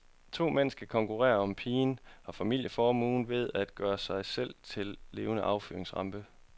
To mænd skal konkurrere om pigen og familieformuen ved at gøre sig selv til levende affyringsramper.